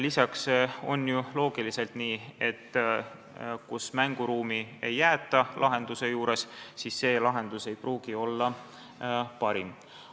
Lisaks on ju loogiliselt nii, et kui ei jäeta mänguruumi lahenduse jaoks, siis see lahendus ei pruugi olla parim.